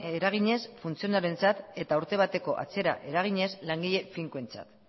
eraginez funtzionarioentzat eta urte bateko atzera eraginez langile finkoentzat